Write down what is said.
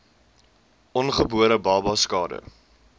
ongebore babas skade